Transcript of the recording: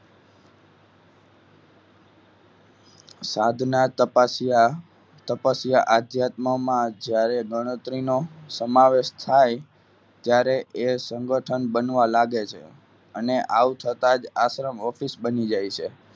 સાધના તપાસ્યા તપાસ્યા આઘાત મોમાં જ્યારે ગણતરી નો સમાવેશ થાય ત્યારે સંગઠન બનવા લાગે છે અને આ થતા જ આશ્રમ office બની જાય છે.